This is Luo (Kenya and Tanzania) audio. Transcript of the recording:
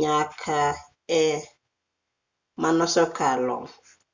nyake e manosekalo